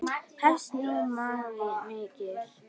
Hefjast nú mannvíg mikil.